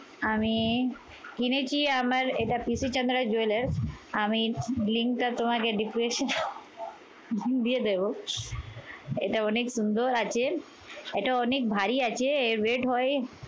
আমি কিনেছি আমার এটা পিসি ঠাম্মাদের jewellers আমি link টা তোমাদের depression দিয়ে দেব। এটা অনেক সুন্দর আছে। এটা অনেক ভারী আছে। এ red হয়